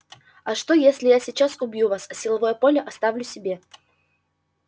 а что если я сейчас убью вас а силовое поле оставлю себе